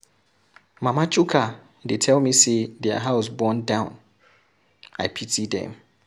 Mama Chuka dey tell me say their house burn down. I pity dem.